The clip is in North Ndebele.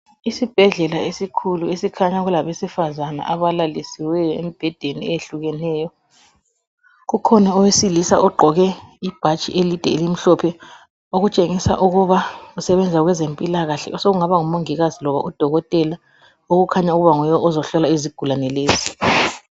Isibhedlela esikhulu esikhanya kulabesifazana abalalisiweyo embhedeni eyehlukeneyo. Kukhona owesilisa ogqoke ibhatshi elide elimhlophe okutshengisa ukuba usebenza kwezempilakahle, osokungaba ngumongikazi loba udokotela. Okukhanya ukuba nguye ozohlola izigulane lezi.